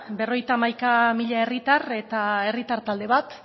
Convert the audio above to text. berrogeita hamaika mila herritar eta herritar talde bat